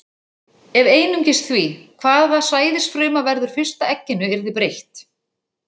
Ef einungis því, hvaða sæðisfruma verður fyrst að egginu, yrði breytt.